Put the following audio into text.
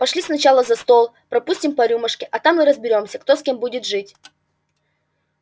пошли сначала за стол пропустим по рюмашке а там и разберёмся кто с кем будет жить